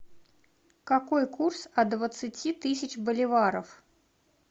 какой курс от двадцати тысяч боливаров